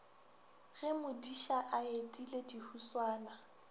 ge modiša a etile dihuswane